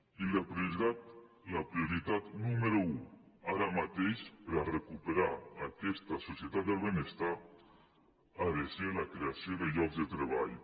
i la prioritat nú·mero un ara mateix per a recuperar aquesta societat del benestar ha de ser la creació de llocs de treball